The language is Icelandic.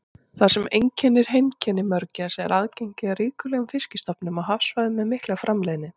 Það sem einkennir heimkynni mörgæsa er aðgengi að ríkulegum fiskistofnum á hafsvæðum með mikla framleiðni.